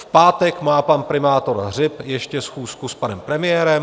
V pátek má pan primátor Hřib ještě schůzku s panem premiérem.